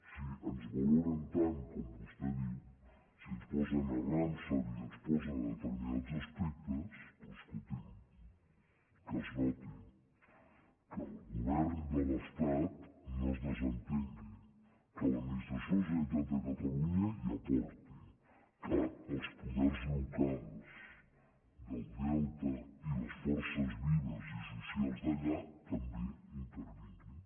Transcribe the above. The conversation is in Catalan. si ens valoren tant com vostè diu si ens posen a ramsar i ens posen a determinats aspectes escolti’m que es noti que el govern de l’estat no se’n desentengui que l’administració de la generalitat de catalunya hi aporti que els poders locals del delta i les forces vives i socials d’allà també hi intervinguin